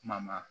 Kuma ma